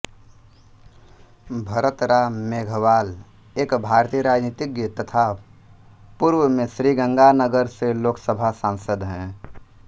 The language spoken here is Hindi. भरत राम मेघवाल एक भारतीय राजनीतिज्ञ तथा पूर्व में श्रीगंगानगर से लोकसभा सांसद हैं